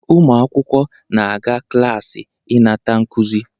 Ụmụ akwụkwọ na-aga klaasị ịnata nkuzi